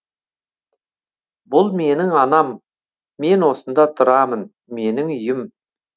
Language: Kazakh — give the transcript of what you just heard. бұл менің анам мен осында тұрамын менің үйім